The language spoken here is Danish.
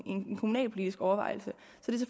en kommunalpolitisk overvejelse så det